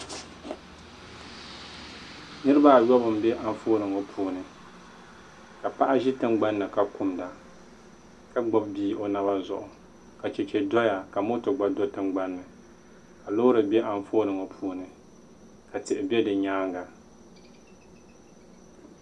niriba ayɔbu m-be anfooni ŋɔ puuni ka paɣa ʒi tiŋgbani ni ka kumda ka gbubi bia o naba zuɣu ka cheche doya ka moto gba do tiŋgbani ni ka loori be anfooni puuni ka tihi be di nyaaŋa